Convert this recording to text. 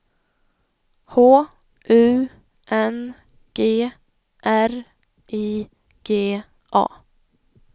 H U N G R I G A